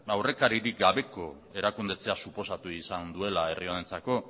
aurrekaririk gabeko erakunde suposatu izan duela herri honentzako